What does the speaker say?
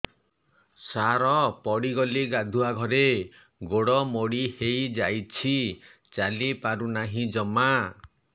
ସାର ପଡ଼ିଗଲି ଗାଧୁଆଘରେ ଗୋଡ ମୋଡି ହେଇଯାଇଛି ଚାଲିପାରୁ ନାହିଁ ଜମା